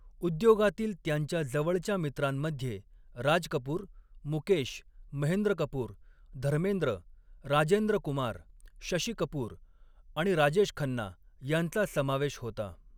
उद्योगातील त्यांच्या जवळच्या मित्रांमध्ये राज कपूर, मुकेश, महेंद्र कपूर, धर्मेंद्र, राजेंद्र कुमार, शशी कपूर आणि राजेश खन्ना यांचा समावेश होता.